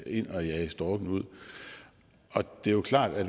ind og jage storken ud og det er klart at